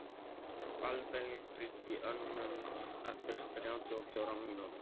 Avelin, hringdu í Önund eftir þrjátíu og fjórar mínútur.